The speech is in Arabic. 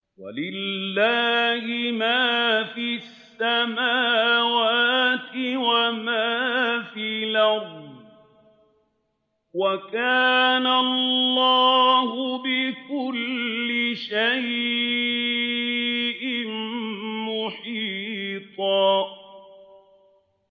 وَلِلَّهِ مَا فِي السَّمَاوَاتِ وَمَا فِي الْأَرْضِ ۚ وَكَانَ اللَّهُ بِكُلِّ شَيْءٍ مُّحِيطًا